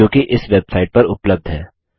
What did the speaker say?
जोकि इस वेबसाइट पर उपलब्ध है